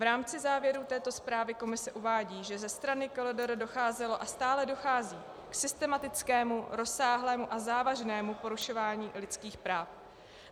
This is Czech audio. V rámci závěrů této zprávy komise uvádí, že ze strany KLDR docházelo a stále dochází k systematickému, rozsáhlému a závažnému porušování lidských práv.